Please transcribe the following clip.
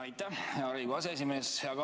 Aitäh, hea Riigikogu aseesimees!